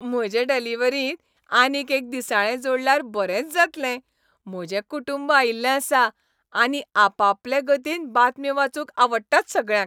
म्हजे डिलिव्हरींत आनीक एक दिसाळें जोडल्यार बरेंच जातलें! म्हजें कुटूंब आयिल्लें आसा, आनी आपआपले गतीन बातम्यो वाचूंक आवडटात सगळ्यांक.